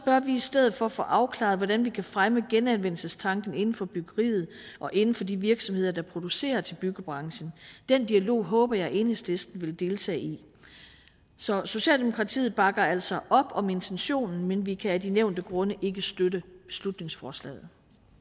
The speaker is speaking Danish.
bør vi i stedet for få afklaret hvordan vi kan fremme genanvendelsestanken inden for byggeriet og inden for de virksomheder der producerer til byggebranchen den dialog håber jeg at enhedslisten vil deltage i så socialdemokratiet bakker altså op om intentionen men vi kan af de nævnte grunde ikke støtte beslutningsforslaget